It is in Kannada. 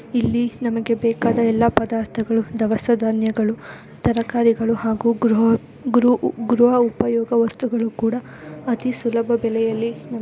ಇಲ್ಲಿ ನಮಗೆ ಬೇಕಾದ ಎಲ್ಲ ಪದಾರ್ಥಗಳು ದವಸ ಧಾನ್ಯಗಳು ತರಕರಿಗಳು ಹಾಗು ಗೃಹ ಗೃಹು ಗೃಹ ಉಪಯೊಗ ವಸ್ತುಗಳು ಕುಡ ಅತಿ ಸುಲಬ ಬೆಲೆಯಲ್ಲಿ --